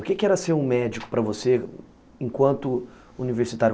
O que que era ser um médico para você enquanto universitário?